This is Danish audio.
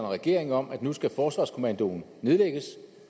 regeringen om at nu skal forsvarskommandoen nedlægges